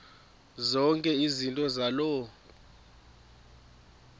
zonke izinto zaloo